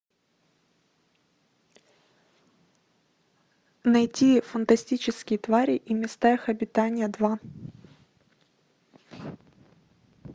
найти фантастические твари и места их обитания два